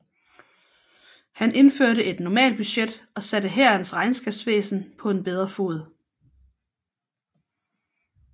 Han indførte et normalbudget og satte hærens regnskabsvæsen på en bedre fod